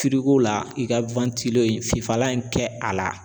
la i ka fifalan in kɛ a la.